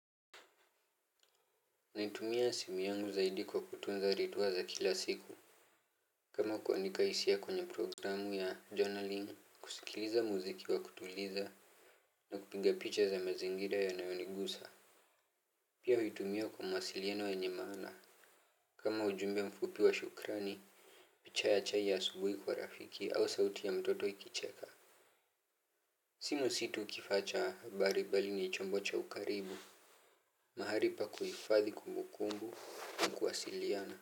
Naitumia simu yangu zaidi kwa kutunza ritua za kila siku. Kama kuandika hisia kwenye programu ya journaling kusikiliza muziki wa kutuliza na kupiga picha za mazingira yanayonigusa. Pia huitumia kwa mawasiliano yenye maana. Kama ujumbe mfupi wa shukrani picha ya chai ya asubuhi kwa rafiki au sauti ya mtoto ikicheka. Simu si tu kifaa cha habari bali ni chombo cha ukaribu. Mahali pa kuhifadhi kumbukumbu na kuwasiliana.